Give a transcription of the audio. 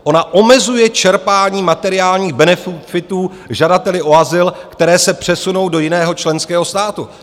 Ona omezuje čerpání materiálních benefitů žadateli o azyl, které se přesunou do jiného členského státu.